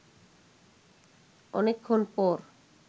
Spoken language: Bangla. অনেকক্ষণ পর